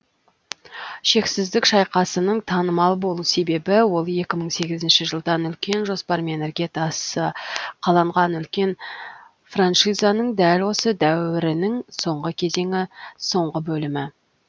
шексіздік шайқасының танымал болу себебі ол екі мың сегізінші жылдан үлкен жоспармен іргетасы қаланған үлкен франшизаның дәл осы дәуірінің соңғы кезеңі соңғы бөлімі